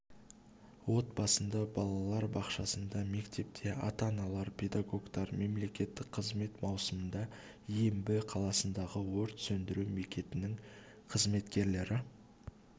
отбасында балалар бақшасында мектепте ата-аналар педагогтар мемлекеттік қызмет маусымда ембі қаласындағы өрт сөндіру бекетінің қызметкерлері